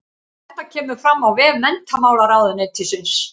Þetta kemur fram á vef menntamálaráðuneytisins